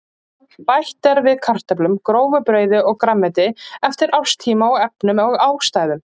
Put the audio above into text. Bætt er við kartöflum, grófu brauði og grænmeti eftir árstíma og efnum og ástæðum.